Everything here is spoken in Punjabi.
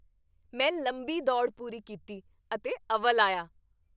ਮੈਂ ਲੰਮੀ ਦੌੜ ਪੂਰੀ ਕੀਤੀ ਅਤੇ ਅਵਲ ਆਇਆ।